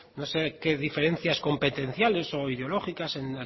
no sé qué diferencias competenciales o ideológicas en